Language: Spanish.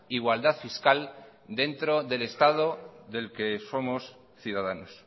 igualdad fiscal dentro del estado del que somos ciudadanos